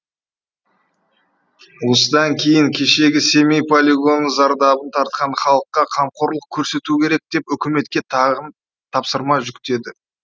осыдан кейін кешегі семей полигонының зардабын тартқан халыққа қамқорлық көрсету керек деп үкіметке тапсырма жүктеді